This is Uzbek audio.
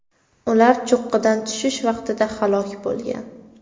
Ular cho‘qqidan tushish vaqtida halok bo‘lgan.